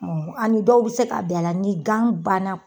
Ɔ ani dɔw bi se ka bɛn a la ni gan bana